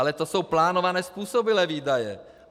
Ale to jsou plánované způsobilé výdaje.